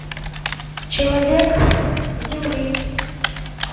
человек с земли